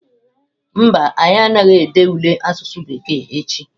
Mba, anyị anaghị ede ule asụsụ bekee echi.